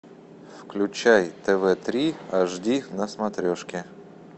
включай тв три аш ди на смотрешке